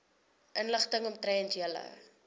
inligting omtrent julle